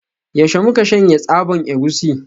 Yaushe muke shanya tsaban egusi?